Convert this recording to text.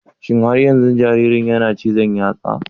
Shin har yanzu jaririn yana cizon yatsa?